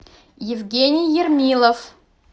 евгений ермилов